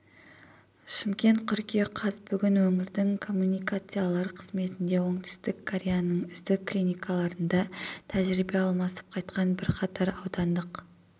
шымкент қыркүйек қаз бүгін өңірлік коммуникациялар қызметінде оңтүстік кореяның үздік клиникаларында тәжірибе алмасып қайтқан бірқатар аудандық